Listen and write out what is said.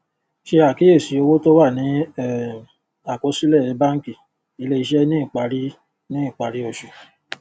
ṣe àkíyèsí owó tó wà ní um àkọsílè bánkì ilé iṣé ní ìparí ní ìparí oṣù